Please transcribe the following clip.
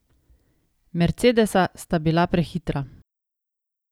Mercedesa sta bila prehitra.